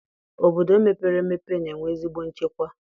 Obodo mepere emepe na-enwe ezigbo nchekwa